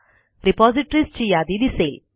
रिपॉझिटरीजची यादी दिसेल